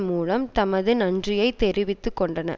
மூலம் தமது நன்றியை தெரிவித்துக்கொண்டன